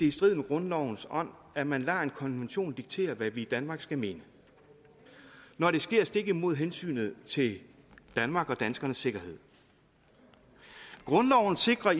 i strid med grundlovens ånd at man lader en konvention diktere hvad vi i danmark skal mene når det sker stik imod hensynet til danmark og danskernes sikkerhed grundloven sikrer